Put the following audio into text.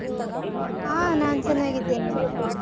ಹಾ ನಾನ್ ಚೆನ್ನಾಗಿದ್ದೇನೆ